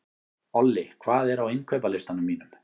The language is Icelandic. Olli, hvað er á innkaupalistanum mínum?